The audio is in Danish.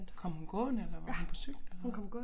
Kom hun gående eller var hun på cykel eller hvad